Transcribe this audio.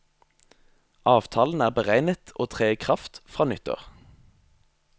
Avtalen er beregnet å tre i kraft fra nyttår.